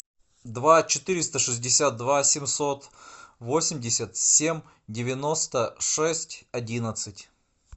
два четыреста шестьдесят два семьсот восемьдесят семь девяносто шесть одиннадцать